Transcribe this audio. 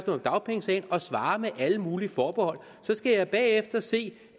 om dagpengesagen og svarer med alle mulige forbehold skal jeg bagefter se